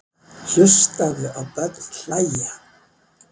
Hlustaðu á börn hlæja.